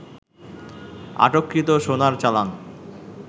আটককৃত সোনার চালান